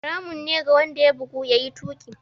Haramun ne ga wanda ya bugu, ya yi tuƙi.